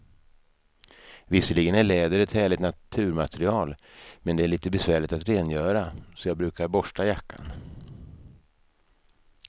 Visserligen är läder ett härligt naturmaterial, men det är lite besvärligt att rengöra, så jag brukar borsta jackan.